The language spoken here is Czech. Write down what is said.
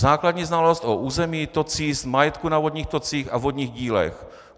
Základní znalost o území, tocích, majetku na vodních tocích a vodních dílech.